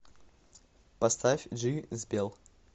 поставь джи збел